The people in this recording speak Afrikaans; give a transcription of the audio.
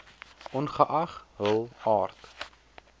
ongeag hul aard